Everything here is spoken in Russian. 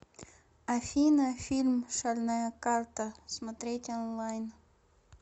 афина фильм шальная карта смотреть онлайн